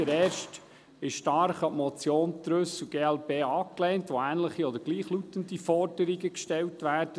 Der erste ist stark an die Motion Trüssel/glp angelehnt, mit der ähnliche oder gleichlautende Forderungen gestellt werden.